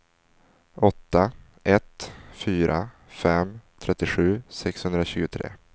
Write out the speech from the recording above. åtta ett fyra fem trettiosju sexhundratjugotre